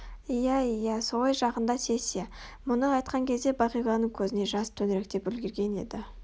иә иә солай жақында сессия мұны айтқан кезде бағиланың көзіне жас төңіректеп үлгерген еді